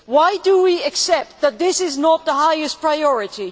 Why do we accept that this is not the highest priority?